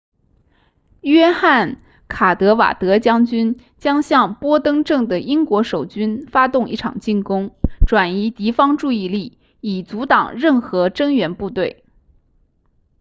约翰卡德瓦德将军将向波登镇的英国守军发动一场进攻转移敌方注意力以阻挡任何增援部队